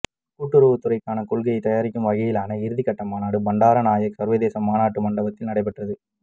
கூட்டுறவுத்துறைக்கான கொள்கையைத் தயாரிக்கும் வகையிலான இறுதிக்கட்ட மாநாடு பண்டாரநாயக்கா சர்வதேச மாநாட்டு மண்டபத்தில் நடைபெற்றது